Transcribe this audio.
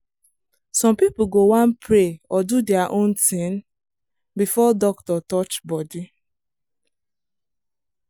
some people go wan pray or do their own thing before doctor touch body.